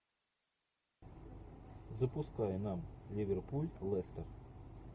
запускай нам ливерпуль лестер